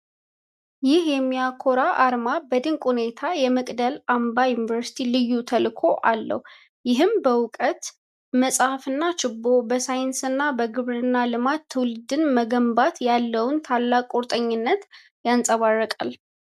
ይህ የሚያኮራ አርማ በድንቅ ሁኔታ የመቅደላ አምባ ዩኒቨርሲቲን ልዩ ተልዕኮ አለው፤ ይህም በእውቀት (መጽሐፍና ችቦ)፣ በሳይንስና በግብርና ልማት ትውልድን መገንባት ያለውን ታላቅ ቁርጠኝነት ያንፀባርቃል፡፡